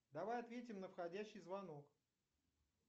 давай ответим на входящий звонок